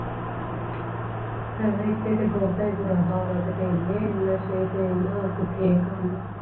ਭੈਣਾਂ ਇੱਥੇ ਤੇ ਬਹੁਤ ਏ ਬੁਰਾ ਹਾਲ ਆ ਕੀਤੇ ਏਨਾ ਨਸ਼ੇ ਏਨੀ ਕੇ ਪੁੱਠੇ ਕਾਮ